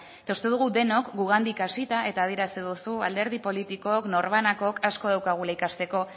eta uste dugu gugandik hasita eta adierazi duzu alderdi politikok norbanakok asko daukagula ikasteko